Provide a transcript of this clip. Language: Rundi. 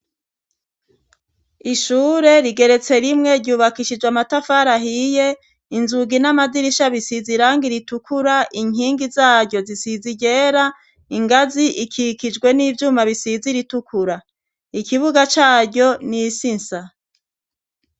Ishure rigeretse rimwe ryubakishijwe amatafari ahiye, inzugi n'amadirisha bisizi irangi iritukura, inkingi zaryo zisizi iryera ingazi ikikijwe n'ivyuma bisizi iritukura, ikibuga caryo n'isi nsa.